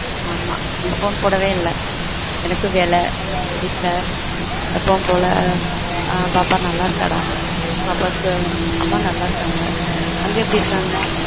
ஆஹ்ம்மா நீ phone போடவே இல்ல எனக்கும் வேல வீட்ல எப்பவும் போல ஹம் பாப்பா நல்ல இருக்க டா பாப்பாக்கு அம்மா நல்ல இருக்காங்க அங்க எப்படி இருக்காங்க?